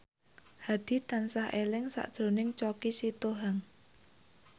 Hadi tansah eling sakjroning Choky Sitohang